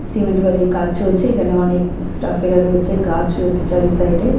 Cement বালির কাজ চলছে এখানে অনেক স্টাফ এরা রয়েছে। গাছ রয়েছে চারি সাইড -এ।